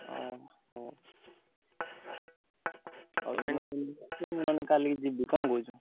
ଓହୋ! ମାନେ କାଲି ଯିବୁ କଣ କହୁଛୁ?